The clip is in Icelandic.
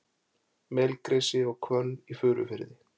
Melgresi og hvönn í Furufirði.